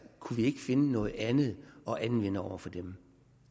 kunne vi ikke finde noget andet at anvende over for dem